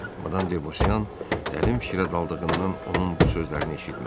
Madam de Bosyan dərin fikrə daldığından onun bu sözlərini eşitmədi.